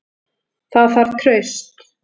Það þarf traust.